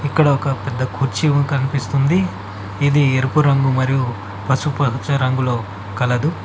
ఇక్కడ ఒక పెద్ద కుర్చీ కనిపిస్తుంది ఇది ఎరుపు రంగు మరియు పసుపు పచ్చ రంగులో కలదు.